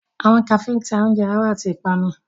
Awọn Kafee ǹ ta ọunje aro ati ipanu.